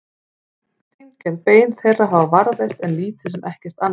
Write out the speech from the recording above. Steingerð bein þeirra hafa varðveist en lítið sem ekkert annað.